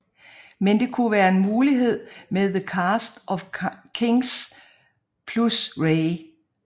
Men det kunne være en mulighed med The Kast Off Kinks plus Ray